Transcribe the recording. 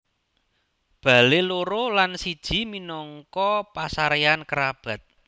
Bale loro lan siji minangka pasareyan kerabat